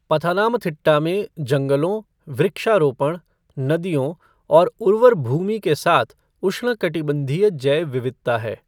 पथानामथिट्टा में जंगलों, वृक्षारोपण, नदियों और उर्वर भूमि के साथ उष्णकटिबंधीय जैव विविधता है।